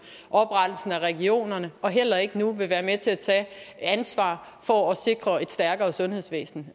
oprettelsen af regionerne og heller ikke nu være med til at tage ansvar for at sikre et stærkere sundhedsvæsen